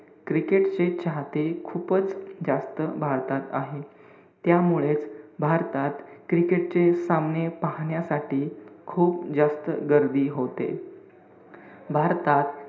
Cricket चे चाहते खूपच जास्त भारतात आहे. त्यामुळेच भारतात cricket चे सामने पाहण्यासाठी खूप जास्त गर्दी होते. भारतात,